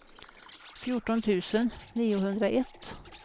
fjorton tusen niohundraett